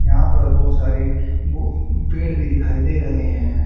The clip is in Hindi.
यहां पर बहुत सारे बु पेड़ भी दिखाई दे रहे हैं।